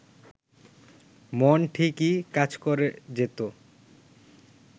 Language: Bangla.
মন ঠিকই কাজ করে যেত